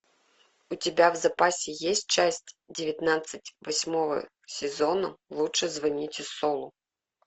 у тебя в запасе есть часть девятнадцать восьмого сезона лучше звоните солу